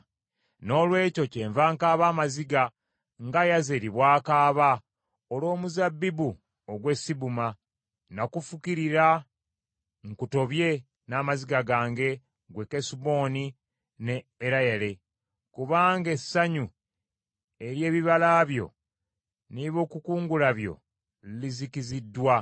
Noolwekyo kyenva nkaaba amaziga nga Yazeri bw’akaaba olw’omuzabbibu ogw’e Sibuma. Nakufukirira nkutobye n’amaziga gange, ggwe Kesuboni ne Ereyale: kubanga essanyu ery’ebibala byo n’ebyokukungula byo lizikiziddwa.